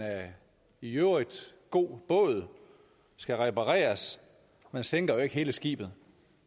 i øvrigt god båd skal repareres man sænker jo ikke hele skibet